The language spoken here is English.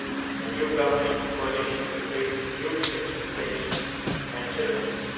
A new governing coalition will face huge expectations and challenges.